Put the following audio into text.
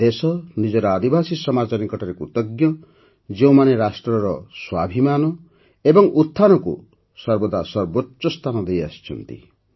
ଦେଶ ନିଜର ଆଦିବାସୀ ସମାଜ ନିକଟରେ କୃତଜ୍ଞ ଯେଉଁମାନେ ରାଷ୍ଟ୍ରର ସ୍ୱାଭିମାନ ଓ ଉତ୍ଥାନକୁ ସର୍ବଦା ସର୍ବୋଚ୍ଚ ସ୍ଥାନ ଦେଇଆସିଛନ୍ତି